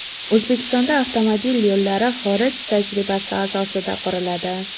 O‘zbekistonda avtomobil yo‘llari xorij tajribasi asosida quriladi.